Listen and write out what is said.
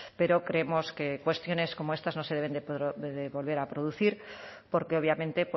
pero creemos que cuestiones como estas no se deben de volver a producir porque obviamente